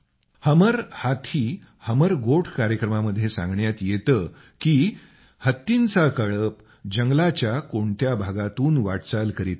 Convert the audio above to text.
हमर हाथीहमर गोठ कार्यक्रमामध्ये सांगण्यात येत की हत्तींचा कळप जंगलाच्या कोणत्या भागातून वाटचाल करीत आहे